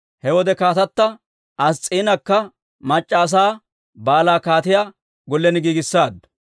He wode kaatata Ass's'iinakka mac'c'a asaa baalaa kaatiyaa gollen giigissaaddu.